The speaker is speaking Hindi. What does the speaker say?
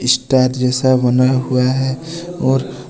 स्टार जैसा बना हुआ है और --